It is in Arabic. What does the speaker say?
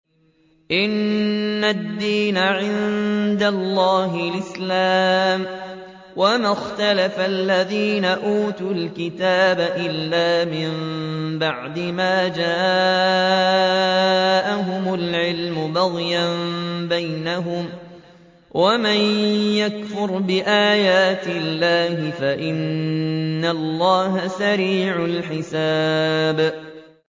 إِنَّ الدِّينَ عِندَ اللَّهِ الْإِسْلَامُ ۗ وَمَا اخْتَلَفَ الَّذِينَ أُوتُوا الْكِتَابَ إِلَّا مِن بَعْدِ مَا جَاءَهُمُ الْعِلْمُ بَغْيًا بَيْنَهُمْ ۗ وَمَن يَكْفُرْ بِآيَاتِ اللَّهِ فَإِنَّ اللَّهَ سَرِيعُ الْحِسَابِ